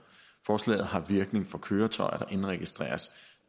forslaget har virkning for køretøjer der indregistreres